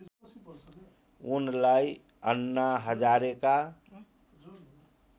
उनलाई अन्ना हजारेका